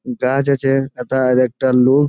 গাছ আছে তথা আরেকটা লোক--